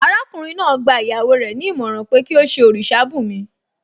Arákùnrin náà gba ìyàwó rẹ̀ ní ìmọ̀ràn pé kí ó ṣe òrìṣà bùnmi